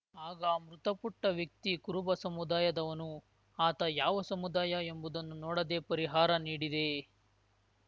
ಆಗ ಮೃತಪುಟ್ಟವ್ಯಕ್ತಿ ಕುರುಬ ಸಮುದಾಯದವನು ಆತ ಯಾವ ಸಮುದಾಯ ಎಂಬುದನ್ನು ನೋಡದೆ ಪರಿಹಾರ ನೀಡಿದೆ